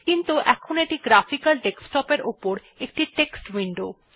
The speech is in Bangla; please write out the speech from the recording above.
কিন্তু এখন এটি গ্রাফিকাল ডেস্কটপ এর উপর একটি টেক্সট উইন্ডো